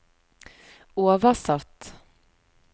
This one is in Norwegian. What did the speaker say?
oversatt